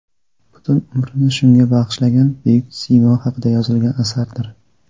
butun umrini shunga bag‘ishlangan buyuk siymo haqida yozilgan asardir.